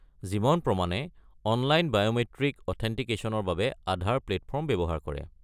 জীৱন প্ৰমাণে online biometric অথেণ্টিকেশ্যনৰ বাবে আধাৰ প্লে'টফৰ্ম ব্যৱহাৰ কৰে।